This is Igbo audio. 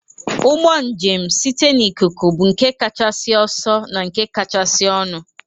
Ụgbọ njem site n'ikuku bụ nke kachasị ọsọ na nke kachasị ọnụ